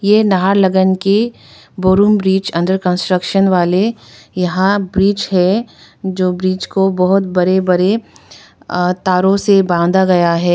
यह नाहरलगान की बरुन ब्रिज अंडर कंस्ट्रक्शन वाले यहां ब्रिज है जो ब्रिज को बहुत बड़े बड़े आह तारों से बांधा गया है।